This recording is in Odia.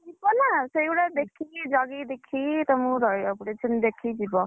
ଯିବ ନା ସେଗୁଡା ଦେଖିକି ଜଗିକି ଦେଖିକି ତମକୁ ରଖି ରହିବାକୁ ପଡିବ ସେମିତି ଦେଖିକି ଯିବ।